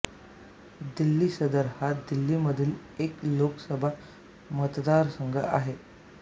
दिल्ली सदर हा दिल्लीमधील एक लोकसभा मतदारसंघ आहे